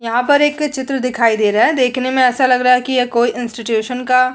यहाँ पर एक चित्र दिखाई दे रहा है देखने में ऐसा लग रहा है कि ये कोई इंस्टीट्यूशन का --